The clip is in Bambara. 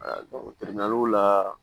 la